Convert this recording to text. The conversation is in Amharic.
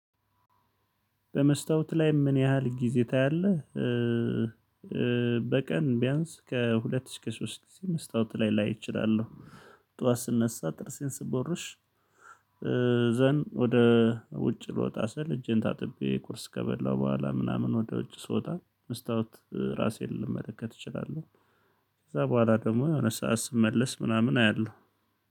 በመስታወት ላይ ምን ያህል ጊዜ ታያለህ? በቀን ቢያንስ ከሁለት እስከ ሶስት መስታወት ላይ ላይ እችላለው ጡዋት ስነሳ ጥርሴን ስቦርሽ ወደ ውጭ ልወጣ ስል እጄን ታጥቤ ቁርስ ከበላው ቦኋላ ምናምን ወደ ውጭ ስወጣ መስታወት ራሴን ልመለከት እችላለው። ከዛ ቦኋላ ደግሞ የሆነ ሰዓት ስመለስ ምናምን አያለው።